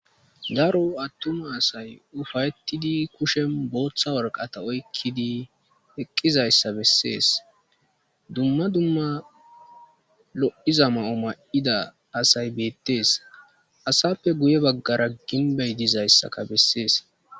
Darro atumma asay uffayetidi kushenbotha warqata oyqidi eqizzayssa besses dumma dumma lo77izza asay bettes asape guebagara ginbbey dizzayssakka besses